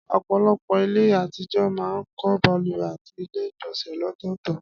Ọ̀pọ̀lọpọ̀ ilé àtijọ́ máa ń kọ́ balùwẹ̀ àti ilé ìgbọ̀nsẹ̀ lọ́tọ̀ọ̀tọ̀